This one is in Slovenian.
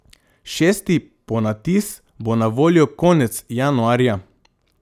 Šesti ponatis bo na voljo konec januarja.